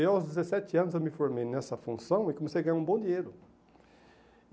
Eu aos dezessete anos eu me formei nessa função e comecei a ganhar um bom dinheiro.